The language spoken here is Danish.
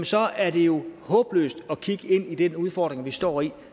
så er det jo håbløst at kigge ind i den udfordring vi står i